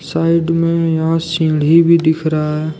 Side में यहां सीढ़ी भी दिख रहा है।